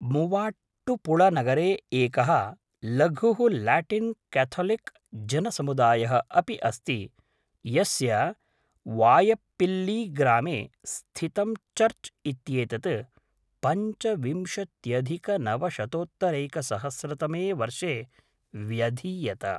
मुवाट्टुपुळनगरे एकः लघुः Latin Catholic जनसमुदायः अपि अस्ति यस्य वाय़प्पिल्लीग्रामे स्थितं चर्च् इत्येतत् पञ्चविंशत्यधिकनवशतोत्तरैकसहस्रतमे वर्षे व्यधीयत।